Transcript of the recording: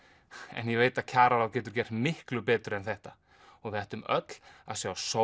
en ég veit að kjararáð getur gert miklu betur en þetta við ættum öll að sjá sóma